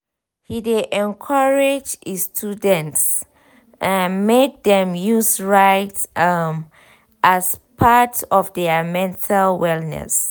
he de encourage e students um make dem use write um as part of their mental wellness.